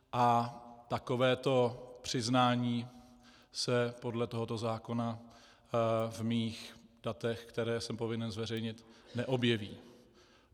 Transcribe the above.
A takovéto přiznání se podle tohoto zákona v mých datech, která jsem povinen zveřejnit, neobjeví.